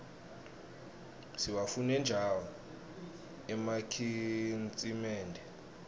siwafune njau emakitnsimende